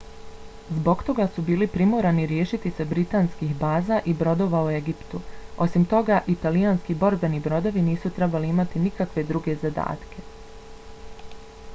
zbog toga su bili primorani riješiti se britanskih baza i brodova u egiptu. osim toga italijanski borbeni brodovi nisu trebali imati nikakve druge zadatke